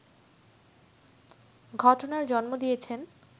ঘটনার জন্ম দিয়েছেন